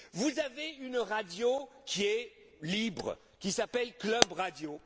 Vous avez une radio qui est libre, qui s'appelle Club